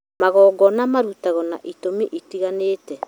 magongona marutagwo na itũmi itiganĩte